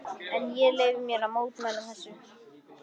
En ég leyfi mér að mótmæla þessu.